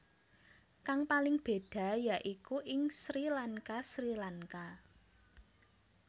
Kang paling béda yaiku ing Sri LankaSri Lanka